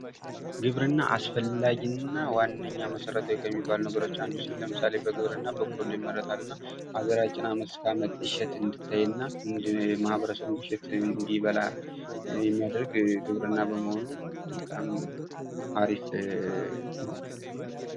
ግብርና አስፈላጊ እና ዋነኛ መሰረታዊ ከሚባሉ ነገሮች አንዱ ሲሆን ለምሳሌ በግብርና በቆሎ ይመረታል እና ሀገራችን አመት እስከ አመት እሸት እንድታይና ማኅበረሰቡም እሸት እንዲበላ የሚያደርግ ግብርና በመሆኑ በጣም አሪፍ ነው ።